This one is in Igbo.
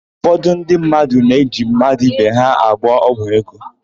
Ụfọdụ ndị mmadụ ji mmadụ ibe ha agwọ ọgwụ ego.